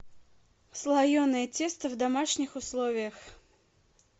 слоеное тесто в домашних условиях